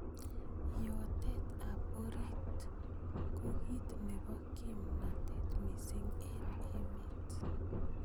Iyotet ab orit ko ki nebo kimnatet missing eng emet.